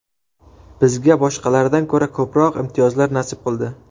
Bizga boshqalardan ko‘ra ko‘proq imtiyozlar nasib qildi.